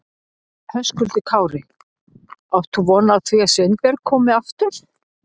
Höskuldur Kári: Átt þú von á því að Sveinbjörg komi aftur?